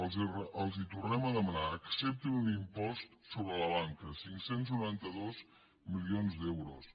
els ho tornem a demanar acceptin un impost sobre la banca cinc cents i noranta dos milions d’euros